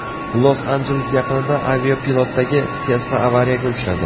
Los-Anjeles yaqinida avtopilotdagi Tesla avariyaga uchradi.